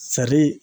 Sali